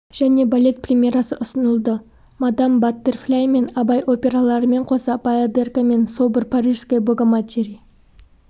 және балет премьерасы ұсынылды мадам баттерфляй мен абай операларымен қоса баядерка мен собор парижской богоматери